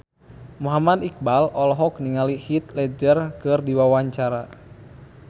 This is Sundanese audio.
Muhammad Iqbal olohok ningali Heath Ledger keur diwawancara